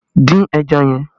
Dín ẹja yẹn!